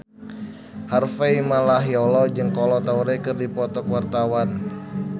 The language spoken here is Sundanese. Harvey Malaiholo jeung Kolo Taure keur dipoto ku wartawan